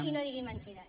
i no digui mentides